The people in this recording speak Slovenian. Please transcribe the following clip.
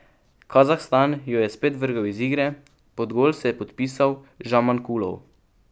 Kazahstan jo je spet vrgel iz igre, pod gol se je podpisal Žamankulov.